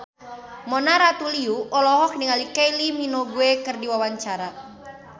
Mona Ratuliu olohok ningali Kylie Minogue keur diwawancara